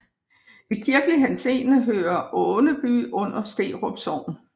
I kirkelig henseende hører Äneby under Sterup Sogn